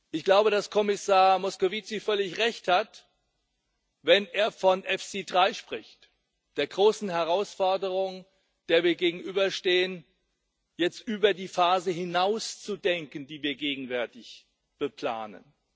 Ich glaube, dass Kommissar Moscovici völlig Recht hat, wenn er von EFSI 3 spricht der großen Herausforderung, der wir gegenüberstehen, jetzt über die Phase hinaus zu denken, die wir gegenwärtig beplanen.